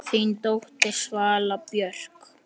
Þín dóttir, Svala Björk.